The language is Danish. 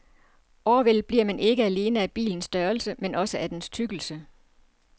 Overvældet bliver man ikke alene af bilens størrelse men også af dens tykkelse.